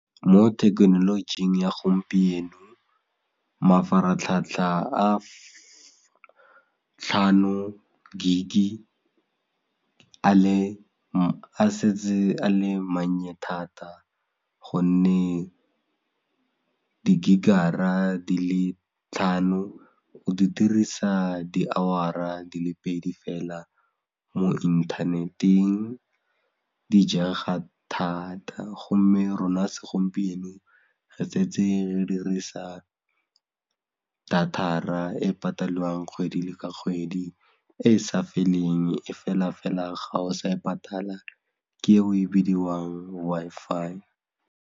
Mo thekenolojing ya gompieno, mafaratlhatlha a tlhano gig-i a setse a le mannye thata gonne di-gig-ara di le tlhano o di dirisa di-hour-ra di le pedi fela mo internet-eng di jaga thata gomme rona segompieno re setse re dirisa data-ra e patelwang kgwedi le ka kgwedi e e sa feleng e fela fela ga o sa e patala ke e e bidiwang Wi-Fi.